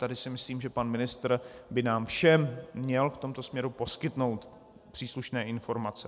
Tady si myslím, že pan ministr by nám všem měl v tomto směru poskytnout příslušné informace.